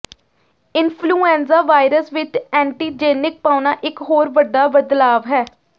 influenza virus ਵਿੱਚ antigenic ਪਾਉਣਾ ਇੱਕ ਹੋਰ ਵੱਡਾ ਬਦਲਾਵ ਹੈ